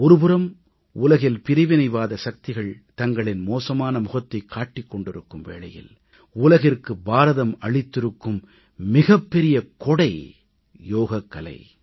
ஒருபுறம் உலகில் பிரிவினைவாத சக்திகள் தங்களின் மோசமான முகத்தைக் காட்டிக் கொண்டிருக்கும் வேளையில் உலகிற்கு பாரதம் அளித்திருக்கும் மிகப்பெரிய கொடை யோகக்கலை